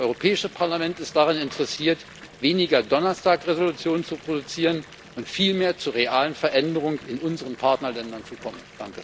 Das Europäische Parlament ist daran interessiert, weniger Donnerstag Entschließungen zu produzieren und viel mehr zu realen Veränderungen in unseren Partnerländern zu kommen.